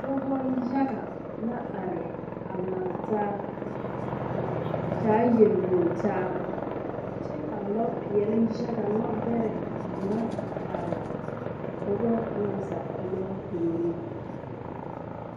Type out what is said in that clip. Dɔbɔ yaga la are a laŋtaa a di taa yelwoŋtaa kyɛ ka lɔpeɛle yaga lɔbɛrɛ ŋa a are a dɔbɔ na zaa kpɛlɛŋ puoriŋ.